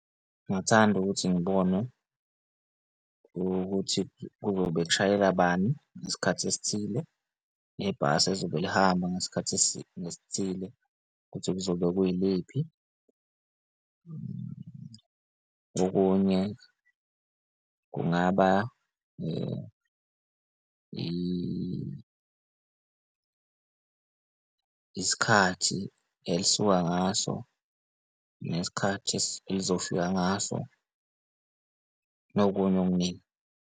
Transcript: Ngingathanda ukuthi ngibone ukuthi kuzobe kushayela bani ngesikhathi esithile ngebhasi ezobe lihamba ngesikhathi esithile ukuthi kuzobe kuyiphi. Okunye kungaba isikhathi elisuka ngaso, nesikhathi elizofika ngaso nokunye okuningi.